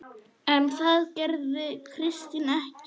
En það gerði Kristín ekki.